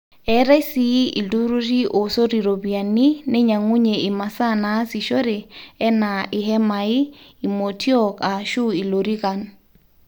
eetai sii ilturrurri oosot iropiyiani neinyang'unye imasaa naasishore enaa ihemai, imotiook aashu ilorikan